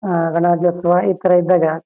ಯಲ್ಲಾ ಸೇರ್ಕೊಂಡ್ ಹಬ್ಬನ ಆಚರಣೆ ಆಚೆ ಮಾಡಬೇಕಾದ್ರ ಖುಷಿ ವಿಷೆಯ.